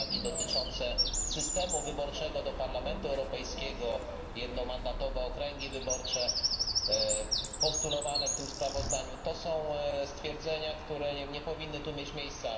uwagi dotyczące systemu wyborczego do Parlamentu Europejskiego, jednomandatowe okręgi wyborcze, postulowane w tym sprawozdaniu, to są stwierdzenia, które nie powinny tu mieć miejsca.